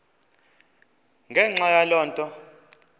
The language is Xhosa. ngenxa yaloo nto